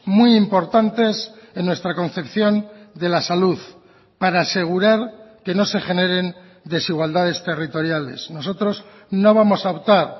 muy importantes en nuestra concepción de la salud para asegurar que no se generen desigualdades territoriales nosotros no vamos a optar